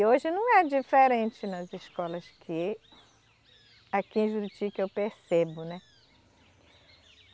Hoje não é diferente nas escolas que aqui em Juruti que eu percebo, né?